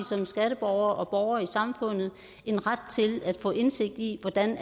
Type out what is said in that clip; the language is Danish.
som skatteborgere og borgere i samfundet en ret til at få indsigt i hvordan